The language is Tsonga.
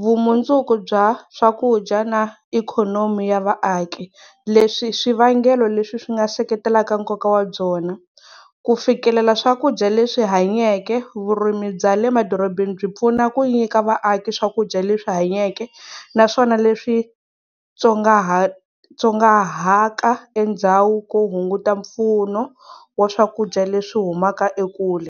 vumundzuku bya swakudya na ikhonomi ya vaaki leswi i swi vangelo leswi swi nga seketelaka nkoka wa byona, ku fikelela swakudya leswi hanyake vurimi bya le emadorobeni byi pfuna ku nyika vaaki swakudya leswi hanyeke naswona leswi endhawu ku hunguta mpfuno wa swakudya leswi humaka ekule.